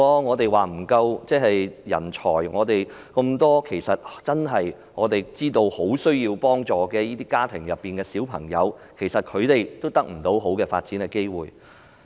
我們常常說人才不足，其實我們知道很多需要協助的家庭的孩子得不到良好的發展機會。